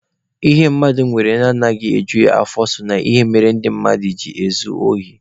Ihe mmadụ nwere ejughị ya afọ so na ihe mmere ndị mmadụ ji ezu ohi.